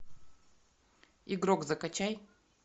игрок закачай